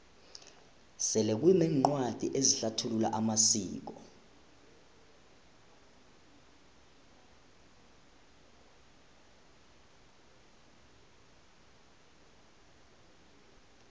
sele kuneencwadi ezihlathulula amasiko